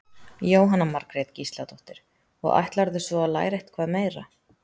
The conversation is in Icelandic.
Jóhanna Margrét Gísladóttir: Og ætlarðu svo að læra eitthvað meira?